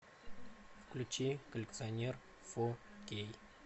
включи коллекционер фо кей